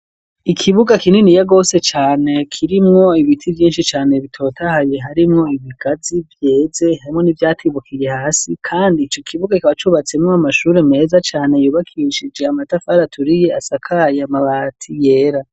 Ikibuga kinini ya gose cyane kirimwo ibiti byinshi cyane bitotahaye harimwo ibigazi byeze hamwe n'ibyatibukiye hasi kandi icyo kibuga kibacubatseme m'amashuri meza cyane yobakishije amatafari aturiye asakaya mabati yera.